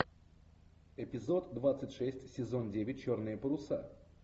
эпизод двадцать шесть сезон девять черные паруса